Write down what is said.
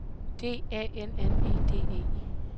D A N N E D E